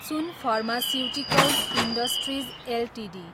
soon pharmaceuticals industries Ltd